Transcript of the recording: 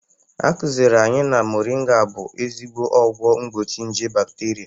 A kụzịrị anyị na mọrịnga bụ ezigbo ọgwọ mgbochi nje bakterịa.